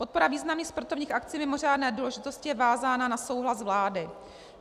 Podpora významných sportovních akcí mimořádné důležitosti je vázána na souhlas vlády.